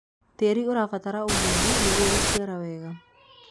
tiiti ũrabatara ugunyu nĩguo guciara wega